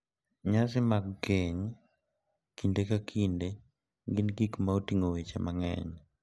Nyasi mag keny kinde ka kinde gin gik ma oting'o weche mang'eny ,